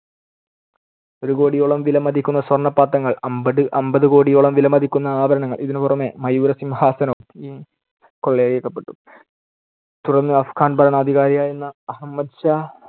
ഒരു കോടിയോളം വിലമതിക്കുന്ന സ്വർണപാത്രങ്ങൾ, അമ്പട്~ അമ്പതു കോടിയോളം വിലമതിക്കുന്ന ആഭരണങ്ങൾ, ഇതിനുപുറമേ മയൂരസിംഹാസനവും കൊള്ളയിടക്കപ്പെട്ടു. തുടർന്ന് അഫ്ഘാൻ ഭരണാധികാരിയായിരുന്ന അഹമ്മദ് ഷാ